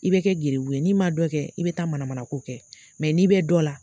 I bɛ kɛ geribu ye, n'i ma dɔn kɛ, i bɛ taa manamana ko kɛ n'i bɛ dɔ la